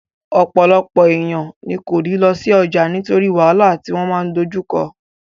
Ọ̀pọ̀lọpọ̀ èèyàn ní kò ní lọ sí ọjà nítorí wàhálà tí wọ́n máa dojú kọ